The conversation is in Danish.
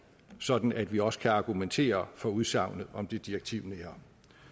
sådan at vi også kan argumentere for udsagnet om det direktivnære